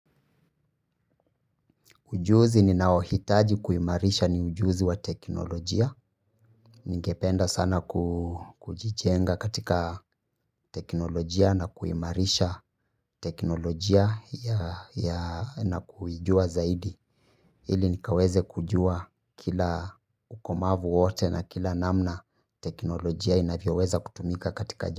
Ujuzi ninaohitaji kuimarisha ni ujuzi wa teknolojia. Ningependa sana kujijenga katika teknolojia na kuimarisha teknolojia na kuijua zaidi. Ili nikaweze kujua kila ukomavu wote na kila namna teknolojia inavyoweza kutumika katika.